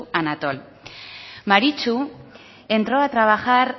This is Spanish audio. anatol maritxu entró a trabajar